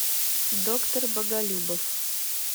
доктор боголюбов